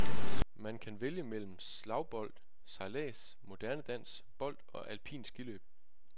Man kan vælge mellem slagbold, sejlads, moderne dans, bold og alpint skiløb.